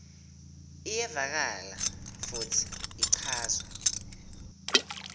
iyevakala futsi ichazwe